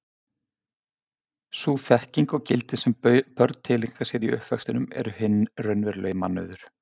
Sú þekking og gildi sem börn tileinka sér í uppvextinum eru hinn raunverulegi mannauður.